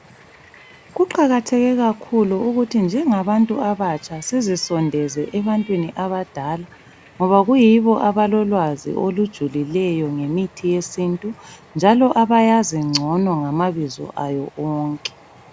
Kuqakatheke kakhulu ukuthi njengabantu abatsha sizisondeze ebantwini abadala ngoba kuyibo abalolwazi olujulileyo ngemithi yesintu njalo abayazi ngcono ngamabizo ayo onke.